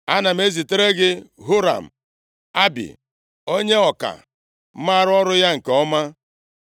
“Ana m ezitere gị Huram-Abi, onye ọka maara ọrụ ya nke ọma.